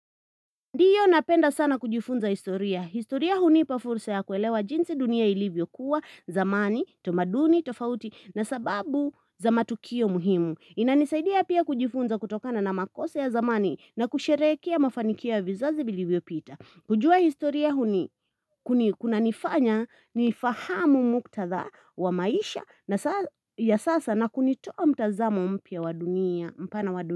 Ndiyo napenda sana kujifunza historia. Historia hunipa fursa ya kuelewa jinsi dunia ilivyokuwa, zamani, tamaduni, tofauti na sababu za matukio muhimu. Inanisaidia pia kujifunza kutokana na makosa ya zamani na kusherekehea mafanikio vizazi vilivyo pita. Kujua historia huni kunanifanya ni fahamu muktadha wa maisha na sasa na kunitoa mtazamo mpya mpana wa dunia.